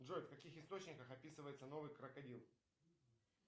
джой в каких источниках описывается новый крокодил